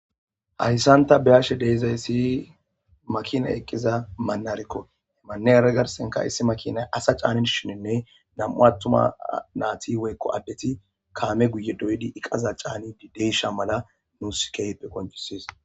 hayssanta beyashe deezayssi makinay eqqiza mannarekko hemanneyra garsenka issi makinay asa caanin shininne dam7u attuma naati woykko addeti kaame guye doydi iqaza caani dideysha mala nuuskeype koncisis